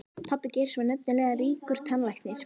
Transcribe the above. Pabbi Geirs var nefnilega ríkur tannlæknir.